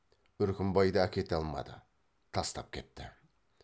үркімбайды әкете алмады тастап кетті